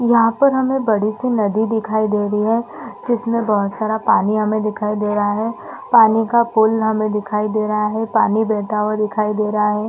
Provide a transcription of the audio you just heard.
यहाँ पर हमे बड़ी सी नदी दिखाई दे रही है जिसमे बहुत सारा पानी हमें दिखाई दे रहा है पानी का पूल हमें दिखाई दे रहा है पानी बहता हुआ दिखाई दे रहा है।